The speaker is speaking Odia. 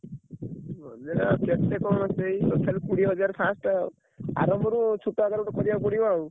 Budget ଆଉ କେତେ କଣ ସେଇ ତଥାପି କୋଡିଏହଜାର first ଆଉ ଆରମ୍ଭରୁ ଛୋଟ ଆକାରରେ ଗୋଟେ କରିଆକୁ ପଡିବ ଆଉ।